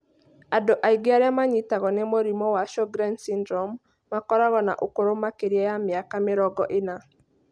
Andũ aingĩ arĩa manyitagwo nĩ mũrimũ wa Sjogren's syndrome makoragwo na ũkũrũ makĩria ya mĩaka mĩrongo ĩna.